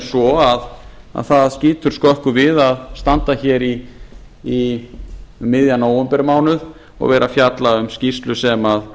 svo að það skýtur skökku við að standa hér um miðjan nóvembermánuð og vera að fjalla um skýrslu sem